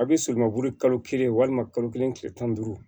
A bɛ surumanburu kalo kelen walima kalo kelen tile tan ni duuru